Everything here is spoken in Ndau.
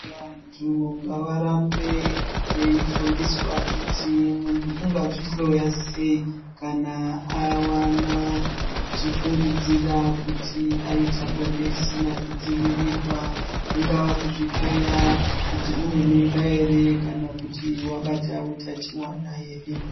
Vantu ngavarambe veifundiswa kuti muntu ungazihloya sei kana avana achifungidzira kuti aita bonde risina kudzivirirwa. Kungaa kuzvihloya kuti une mimba ere kana kuti vabata utachivana ere.